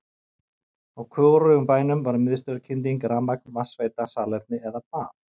Á hvorugum bænum var miðstöðvarkynding, rafmagn, vatnsveita, salerni eða bað.